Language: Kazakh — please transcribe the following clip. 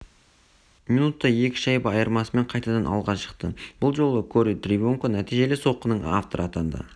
минутта екі шайба айырмасымен қайтадан алға шықты бұл жолы кори тривино нәтижелі соққының авторы атанды